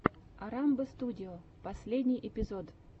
орамбо студио последний эпизод